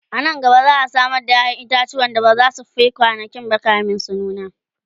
anan gaba za'a Samar da yayan itatuwa da bazasu Fi kwanankinba kamin su nuna